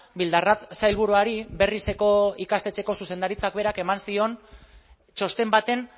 bildarratz sailburuari berrizeko ikastetxeko zuzendaritzak berak eman zion txosten baten